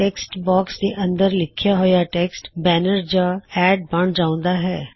text box ਦੇ ਅੰਦਰ ਲਿਖਿਆ ਹੋਇਆ ਟੈਕਸਟ ਬੈਨਰ ਜਾਂ ਐੱਡ ਬਣ ਜਾਉਂਦਾ ਹੈ